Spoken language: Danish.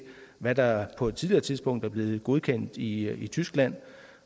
hvad der på et tidligere tidspunkt er blevet godkendt i tyskland